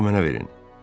bıçağı mənə verin.